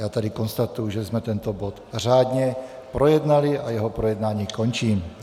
Já tady konstatuji, že jsme tento bod řádně projednali, a jeho projednání končím.